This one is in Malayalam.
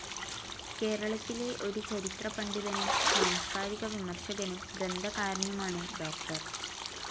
കേരളത്തിലെ ഒരു ചരിത്രപണ്ഡിതനും സാംസ്ക്കാരിക വിമർശകനും ഗ്രന്ഥകാരനുമാണ് ഡോക്ടർ.